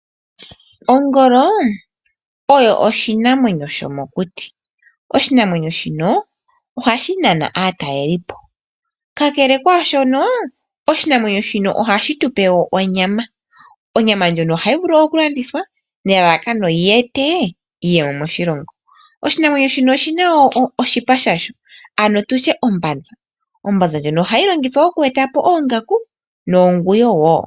Ongolo oyo oshinamwenyo shomokuti. Oshinamwenyo shino ohashi nana aatalelipo. Kakele kwaashono oshinamwenyo shino ohashi tupe wo onyama. Onyama ndjono ohayi vulu okulandithwa nelalakano yeete iiyemo moshilongo. Oshinamwenyo shino oshina wo oshipa shasho ano tutye ombanza. Ombanza ndjino ohayi longithwa okweeta po oongaku noonguwo yo.